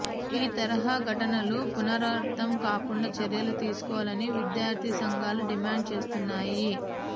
ఈ తరహ ఘటనలు పునరావృతం కాకుండా చర్యలు తీసుకోవాలని విద్యార్ధి సంఘాలు డిమాండ్ చేస్తున్నాయి